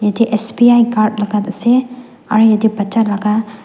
ite S_B_I card laga ase aru ite bacha laga.